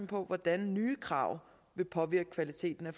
på hvordan nye krav vil påvirke kvaliteten af